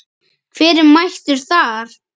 Hver er mættur þar?